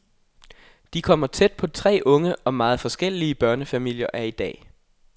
De kommer tæt på tre unge og meget forskellige børnefamilier af i dag.